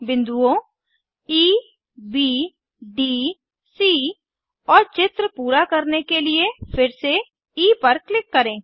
बिन्दुओं E B D C और चित्र पूरा करने के लिए फिर से ई पर क्लिक करें